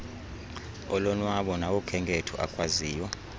olonwabo nawokhenketho akwaziyo